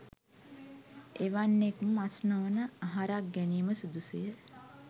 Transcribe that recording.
එවැන්නෙක් මස් නොවන අහරක් ගැනීම සුදුසුය.